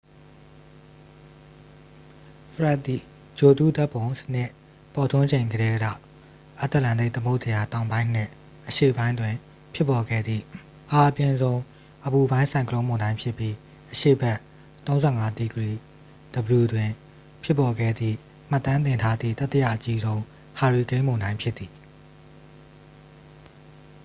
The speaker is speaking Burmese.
ဖရက်ဒ် သည် ဂြိုလ်တုဓာတ်ပုံစနစ် ပေါ်ထွန်းချိန်ကတည်းက အတ္တလန္တိတ်သမုဒ္ဒရာ တောင်ပိုင်းနှင့် အရှေ့ပိုင်းတွင် ဖြစ်ပေါ်ခဲ့သည့် အားအပြင်းဆုံး အပူပိုင်း ဆိုင်ကလုန်းမုန်တိုင်းဖြစ်ပြီး အရှေ့ဘက် ၃၅°w တွင် ဖြစ်ပေါ်ခဲ့သည့် မှတ်တမ်းတင်ထားသည့် တတိယအကြီးဆုံး ဟာရီကိန်းမုန်တိုင်း ဖြစ်သည်။